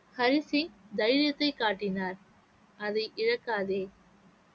ஹரி சிங் தைரியத்தைக் காட்டினார் அதை இழக்காதே